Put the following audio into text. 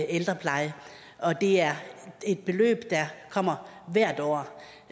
ældrepleje og det er et beløb der kommer hvert år